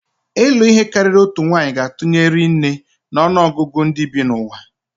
Ịlụ ihe karịrị otu nwanyị ga-atụnye ri nne na ọnụ ọgụgụ ndị bi n'ụwa.